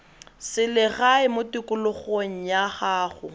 selegae mo tikologong ya gago